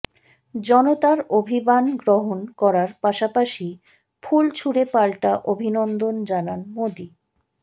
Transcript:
জনতার অভিবান গ্রহণ করার পাশাপাশি ফুল ছুঁড়ে পাল্টা অভিনন্দন জানান মোদী